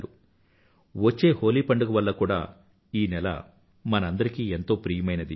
ఈ నెల వచ్చే హోలీ పండుగ కూడా ఈ నెలలో మనందరికీ ఎంతో ప్రియమైనది